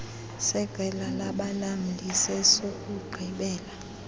seqela labalamli sesokugqibela